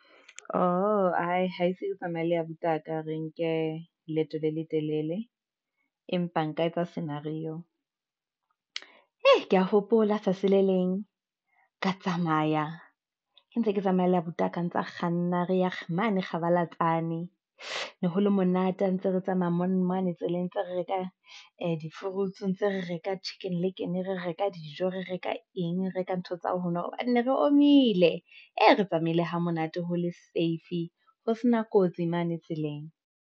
Oho, ke tsamaya le abuti wa ka re nke leeto le letelele, empa nka etsa scenario, hei ke ya hopola tsatsi le leng ka tsamaya, ke ntse ke tsamaya le abuti a kang tsa kganna, re ya mane kgabalatsane ne le ho le monate. Ha ntse re tsamaya monna mane tseleng ntse re reka di fruits ntse re reka Chicken Licken, re reka dijo re reka eng. Reka ntho tsa hao ho nwa hobane ne re omile ee, re tsamaile hamonate ho le safe ho sena kotsi mane tseleng.